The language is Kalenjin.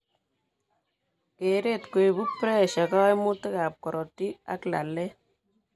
Kereet koibu piressure, koimutik ab korotik, ak laleet